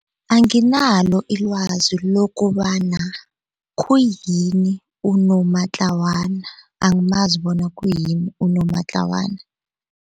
Anginalo ilwazi lokobana khuyini unomatlawana angamazi bona khuyini unomatlawana.